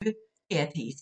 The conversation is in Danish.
DR P1